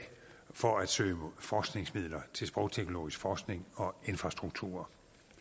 for at søge om forskningsmidler til sprogteknologisk forskning og infrastrukturer